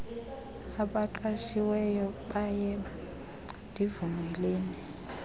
abaqashiweyo bayeba ndivumeleni